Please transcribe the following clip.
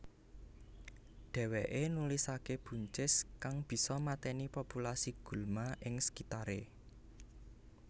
Dheweke nulisake buncis kang bisa mateni populasi gulma ing sekitare